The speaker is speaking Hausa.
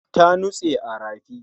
Ta nutse a rafi